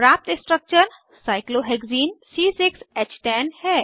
प्राप्त structure cyclohexene cyclohexene है